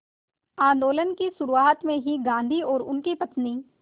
आंदोलन की शुरुआत में ही गांधी और उनकी पत्नी